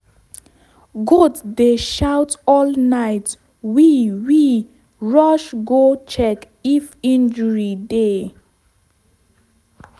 goat dey shout all night we we rush go check if injury dey.